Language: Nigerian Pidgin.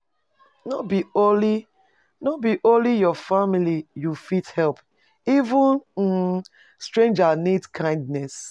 No be only, no be only your family you fit help, even um stranger need kindness.